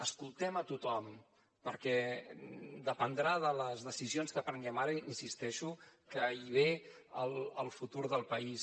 escoltem a tothom perquè dependrà de les decisions que prenguem ara insisteixo que hi ve el futur del país